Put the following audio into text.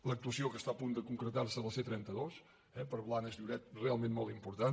l’actuació que està a punt de concretar·se a la c·trenta dos eh per a blanes lloret realment molt im·portant